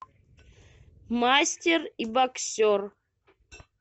мастер и боксер